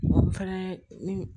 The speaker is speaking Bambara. N fɛnɛ